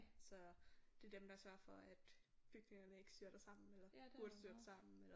Så det er dem der sørger for at bygningerne ikke styrter sammen eller burde styrte sammen eller